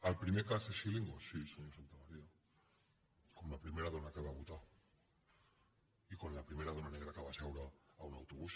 el primer cas és scilingo sí senyor santamaría com la primera dona que va votar i com la primera dona negra que va seure en un autobús